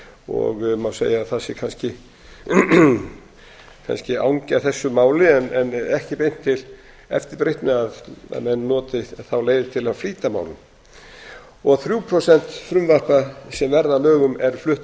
og má segja að það sé kannski angi af þessu máli en ekki beint til eftirbreytni að menn noti þá leið til að flýta málum þrjú prósent frumvarpa sem verða að lögum eru flutt af